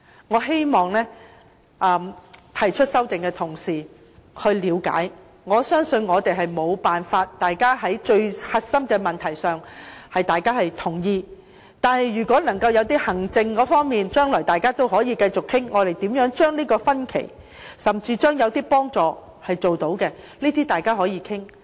我希望提出修正案的同事能夠了解，我相信大家無法在核心問題上達成共識。但是，就行政方面，大家將來可繼續討論，看看如何縮窄分歧，甚至提供幫助，這些都是大家可以探討的。